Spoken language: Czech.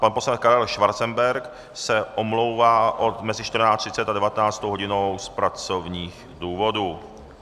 Pan poslanec Karel Schwarzenberg se omlouvá mezi 14.30 a 19. hodinou z pracovních důvodů.